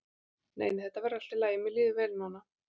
Nei nei, þetta verður allt í lagi, mér líður vel núna.